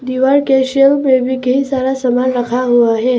दिवार के सेल में भी कई सारा सामान रखा हुआ है।